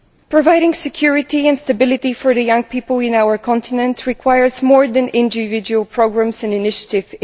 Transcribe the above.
Providing security and stability for the young people on our continent requires more than individual programmes and initiatives.